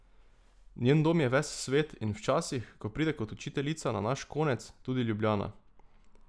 Njen dom je ves svet, in včasih, ko pride kot učiteljica na naš konec, tudi Ljubljana.